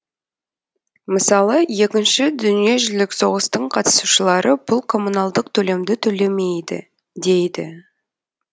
мысалы екінші дүниежүлік соғыстың қатысушылары бұл коммуналдық төлемді төлемейді дейді